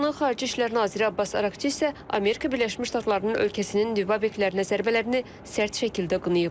İranın xarici İşlər naziri Abbas Araxçi isə Amerika Birləşmiş Ştatlarının ölkəsinin nüvə obyektlərinə zərbələrini sərt şəkildə qınayıb.